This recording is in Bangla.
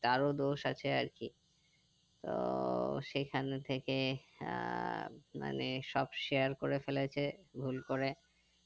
তার ও দোষ আছে আরকি তো সেখান থেকে আহ মানে সব share করে ফেলেছে ভুল করে